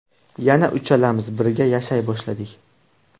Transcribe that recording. Yana uchalamiz birga yashay boshladik.